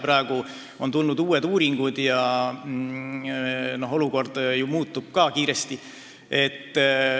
Praeguseks on tulnud uued uuringud ja olukord muutub kiiresti.